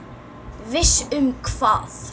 Viss um hvað?